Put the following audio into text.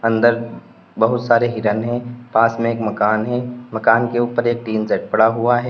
अंदर बहुत सारे हिरने है पास में एक मकान है मकान के ऊपर एक टिन सेट पड़ा हुआ है।